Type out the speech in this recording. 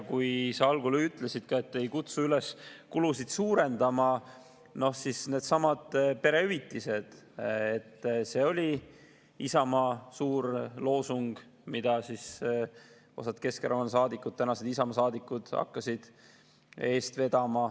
Kui sa algul ütlesid, et ei kutsu üles kulusid suurendama, siis needsamad perehüvitised olid Isamaa suur loosung, mida osad Keskerakonna saadikud ja tänased Isamaa saadikud hakkasid eest vedama.